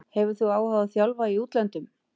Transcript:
Hefur þú áhuga á að þjálfa í útlöndum?